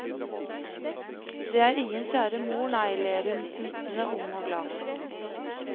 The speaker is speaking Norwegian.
Det er ingen kjære mor, nei, ler hun, smittende ung og glad.